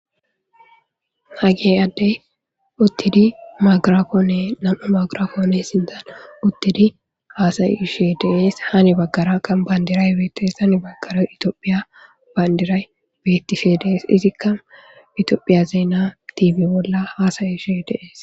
Hage addey uttidi maagarafoonne nam7u maagirafoone sindan uttidi haasayi she deees hani baggara kan bayndiray beetes han baggara itoophiya bayndiray bettife dees izikka itoophiya zeena tiibe bolla haasayi she deees.